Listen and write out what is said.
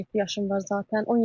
17 yaşım var zatən,